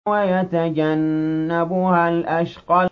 وَيَتَجَنَّبُهَا الْأَشْقَى